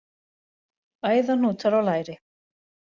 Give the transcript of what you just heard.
Æðahnútar á læri.